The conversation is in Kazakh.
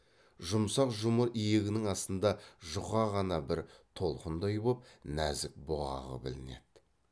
жұмсақ жұмыр иегінің астында жұқа ғана бір толқындай боп нәзік бұғағы білінеді